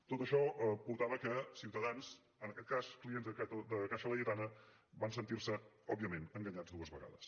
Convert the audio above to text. tot això va portar que ciutadans en aquest cas clients de caixa laietana van sentir se òbviament enganyats dues vegades